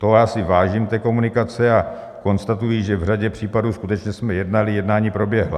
Toho já si vážím, té komunikace, a konstatuji, že v řadě případů skutečně jsme jednali, jednání proběhla.